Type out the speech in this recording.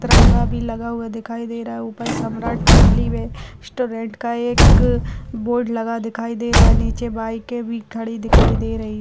तिरंगा भी लगा हुआ दिखाई दे रहा है ऊपर सम्राट फेमली वे रेस्टोरेंट का एक ए बोर्ड लगा दिखाई दे रहा है नीचे बाइके भी खड़ी दिखाई दे रही है ।